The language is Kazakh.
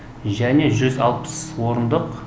және орындық